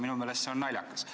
Minu meelest on see naljakas.